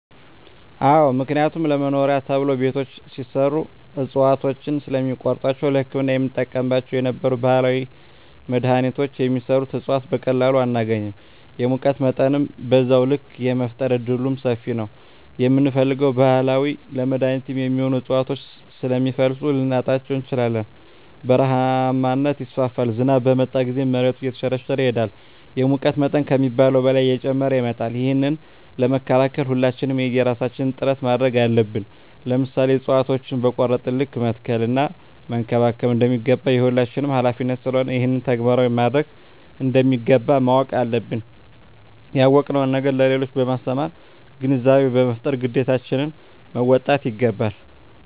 አዎ ምክንያቱም ለመኖሪያ ተብሎ ቤቶች ሲሰሩ እፅዋቶችን ስለሚቆርጧቸዉ ለህክምና የምንጠቀምባቸው የነበሩ ባህላዊ መድሀኒቶች የሚሰሩበት እፅዋት በቀላሉ አናገኝም የሙቀት መጠንም በዛዉ ልክ የመፈጠር እድሉምሰፊ ነዉ የምንፈልገዉን ባህላዊ ለመድኃኒትነት የሚሆኑ እፅዋቶችን ስለሚፈልሱ ልናጣቸዉ እንችላለን በረሀነት ይስፋፋል ዝናብ በመጣ ጊዜም መሬቱ እየተሸረሸረ ይሄዳል የሙቀት መጠን ከሚባለዉ በላይ እየጨመረ ይመጣል ይህንን ለመከላከል ሁላችንም የየራሳችን ጥረት ማድረግ አለብን ለምሳሌ እፅዋቶችን በቆረጥን ልክ መትከል እና መንከባከብ እንደሚገባ የሁላችንም ሀላፊነት ስለሆነ ይህንን ተግባራዊ ማድረግ እንደሚገባ ማወቅ አለብን ያወቅነዉን ነገር ለሌሎች በማስተማር ግንዛቤ በመፍጠር ግዴታችን መወጣት ይገባል